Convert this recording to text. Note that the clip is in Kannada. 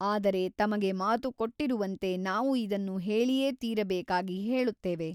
ಆದರೆ ತಮಗೆ ಮಾತು ಕೊಟ್ಟಿರುವಂತೆ ನಾವು ಇದನ್ನು ಹೇಳಿಯೇ ತೀರಬೇಕಾಗಿ ಹೇಳುತ್ತೇವೆ.